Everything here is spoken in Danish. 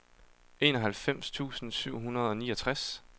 enoghalvfems tusind syv hundrede og niogtres